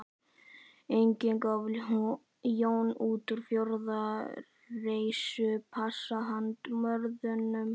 Einnig gaf Jón út fjórtán reisupassa handa Norðmönnum